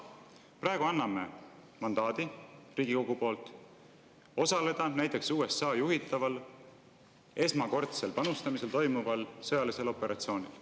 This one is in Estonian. Praegu anname Riigikogu mandaadi osaleda näiteks USA juhitaval esmakordsel panustamisel toimuval sõjalisel operatsioonil.